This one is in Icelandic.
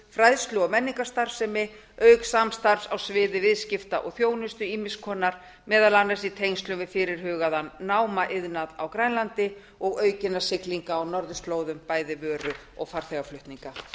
fræðslu og menningarstarfsemi auk samstarfs á sviði viðskipta og þjónustu ýmiss konar meðal annars í tengslum við fyrirhugaðan námaiðnað á grænlandi og aukinna siglinga á norðurslóðum bæði vöru og farþegaflutninga